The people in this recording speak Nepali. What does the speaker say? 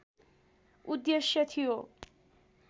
उद्देश्य थियो